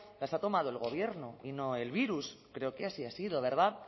las ha tomado el gobierno y no el virus creo que así ha sido verdad